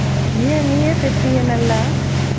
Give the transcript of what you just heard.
ஏன் நீயே தெப்பியே நல்லா